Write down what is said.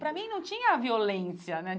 Para mim, não tinha a violência, né?